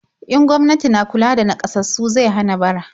In gwamnati na kula da naƙasassu zai hana bara.